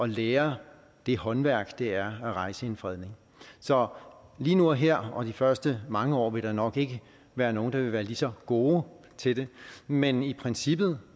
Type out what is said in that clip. lære det håndværk som det er at rejse en fredning så lige nu og her og de første mange år vil der nok ikke være nogen der vil være lige så gode til det men i princippet